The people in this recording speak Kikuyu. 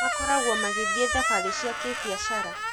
Makoragwo magithiĩ thabarĩ cia kĩ-biacara.